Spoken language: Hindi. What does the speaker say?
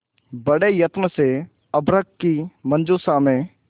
बड़े यत्न से अभ्र्रक की मंजुषा में